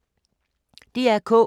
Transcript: DR K